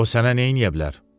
O sənə nə eləyə bilər?